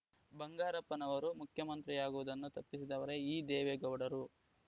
ಬಂಗಾರಪ್ಪನವರು ಮುಖ್ಯಮಂತ್ರಿಯಾಗುವುದನ್ನು ತಪ್ಪಿಸಿದವರೇ ಈ ದೇವೇಗೌಡರು